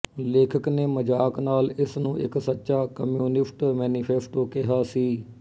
ਲੇਖਕ ਨੇ ਮਜ਼ਾਕ ਨਾਲ ਇਸ ਨੂੰ ਇੱਕ ਸੱਚਾ ਕਮਿਊਨਿਸਟ ਮੈਨੀਫੈਸਟੋ ਕਿਹਾ ਸੀ